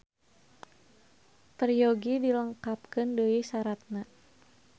Peryogi dilengkepan deui saratna